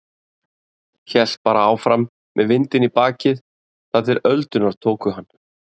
Hélt bara áfram, með vindinn í bakið, þar til öldurnar tóku hann.